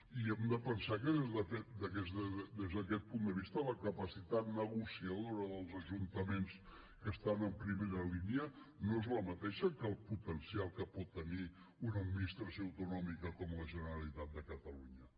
i hem de pensar que des d’aquest punt de vista la capacitat negociadora dels ajuntaments que estan a primera línia no és la mateixa que el potencial que pot tenir una administració autonòmica com la generalitat de catalunya